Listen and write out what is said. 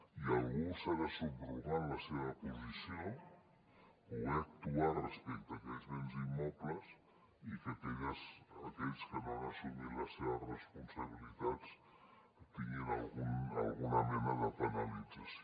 i algú s’ha de subrogar en la seva posició poder actuar respecte a aquells béns immobles i que aquells que no han assumit les seves responsabilitats tinguin alguna mena de penalització